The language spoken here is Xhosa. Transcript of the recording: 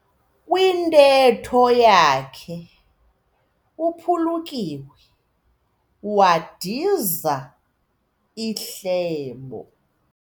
Kwintetho yakhe uphulukiwe wadiza ihlebo.